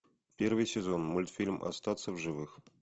первый сезон мультфильм остаться в живых